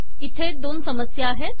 इथे दोन समस्या आहेत